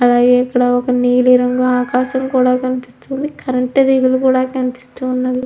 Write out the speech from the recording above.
అలాగే ఇక్కడ ఒక నీలి రంగు ఆకాశం కూడా కనిపిస్తుంది. కరెంటు తీగలు కూడా కనిపిస్తున్నాయ్.